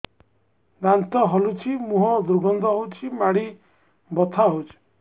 ଦାନ୍ତ ହଲୁଛି ମୁହଁ ଦୁର୍ଗନ୍ଧ ହଉଚି ମାଢି ବଥା ହଉଚି